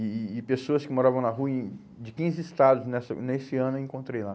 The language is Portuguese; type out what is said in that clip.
E e e pessoas que moravam na rua em de quinze estados nessa nesse ano eu encontrei lá.